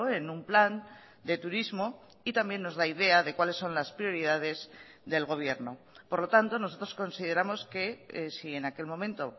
en un plan de turismo y también nos da idea de cuales son las prioridades del gobierno por lo tanto nosotros consideramos que si en aquel momento